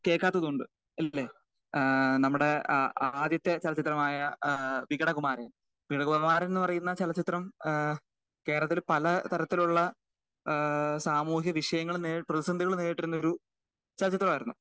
കേൾക്കാത്തത് കൊണ്ട് ഏഹ് നമ്മുടെ ആദ്യത്തെ ചലച്ചിത്രമായ ഏഹ് വികട കുമാരൻ വികട കുമാരൻ എന്ന് പറയുന്ന ചലച്ചിത്രം ഏഹ് കേരളത്തിന്റെ പല തരത്തിലുള്ള ഏഹ് സാമൂഹ്യ വിഷയങ്ങൾ നേരിട്ട പ്രതിസന്ധികൾ നേരിട്ടിരുന്നൊരു ചലച്ചിത്രമായിരുന്നു.